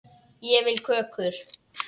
Ég vil kökur.